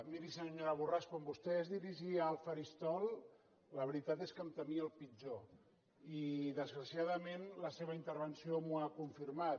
miri senyora borràs quan vostè es dirigia al faristol la veritat és que em temia el pitjor i desgraciadament la seva intervenció m’ho ha confirmat